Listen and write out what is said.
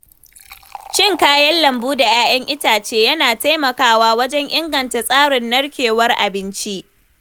Cin kayan lambu da ‘ya’yan itace yana taimakawa wajen inganta tsarin narkewar abinci.